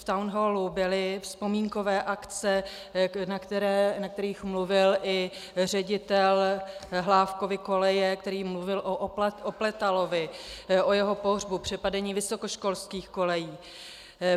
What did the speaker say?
V Town Hallu byly vzpomínkové akce, na kterých mluvil i ředitel Hlávkovy koleje, který mluvil o Opletalovi, o jeho pohřbu, přepadení vysokoškolských kolejí.